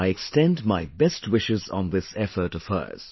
I extend my best wishes on this effort of hers